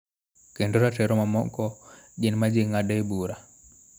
Kendo ratiro mamoko gin ma ji ng�adoe bura.